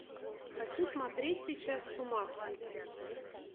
хочу смотреть сейчас с ума сойти